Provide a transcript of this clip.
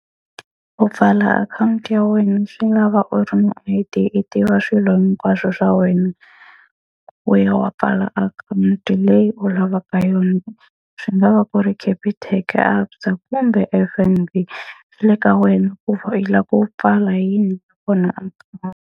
Ku pfala akhawunti ya wena swi lava u ri ni I_D i tiva swilo hinkwaswo swa wena, u ya wa pfala akhawunti leyi u lavaka yona. Swi nga va ku ri Capitec, ABSA kumber F_N_B. Swi le ka wena ku u lava ku pfala yini .